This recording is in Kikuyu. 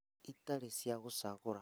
Itarĩ cia gũcagũra